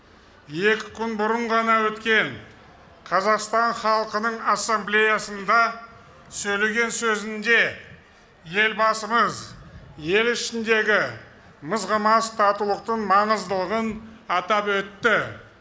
екі күн бұрын ғана өткен қазақстан халқының ассамблеясында сөйлеген сөзінде елбасымыз ел ішіндегі мызғымас татулықтың маңыздылығын атап өтті